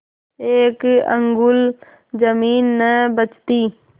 एक अंगुल जमीन न बचती